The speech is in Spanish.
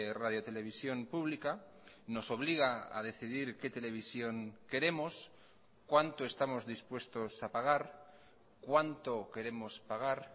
radiotelevisión pública nos obliga a decidir qué televisión queremos cuánto estamos dispuestos a pagar cuánto queremos pagar